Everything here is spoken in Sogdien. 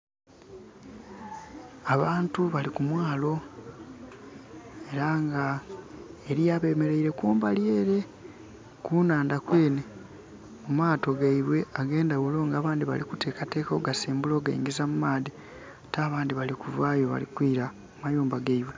Abantu bali ku mwaalo era nga eliyo abemereire kumbali ere, ku nhandha kwenhe ku maato gaibwe agendhaghulo nga abandi bali kutekateka okugasimbula okugangiza mu maadhi. Ate abandhi bali kuvaayo bali kwila mu mayumba gaibwe.